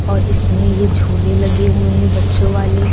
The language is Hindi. और इसमें ये झूले लगे हुए हैं बच्चों वाले।